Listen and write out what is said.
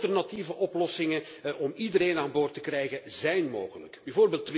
Alternatieve oplossingen om iedereen aan boord te krijgen zijn mogelijk, bv.